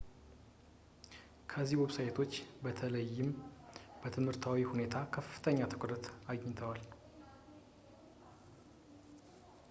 እነዚህ ዌብሳይቶች በተለይም በትምህርቱ ሁኔታ ከፍተኛ ትኩረት አግኝተዋል